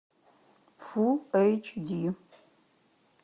фулл эйч ди